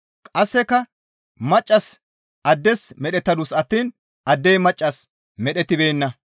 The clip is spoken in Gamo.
Qasseka maccassi addes medhettadus attiin addey maccassas medhettibeenna.